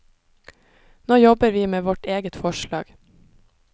Nå jobber vi med vårt eget forslag.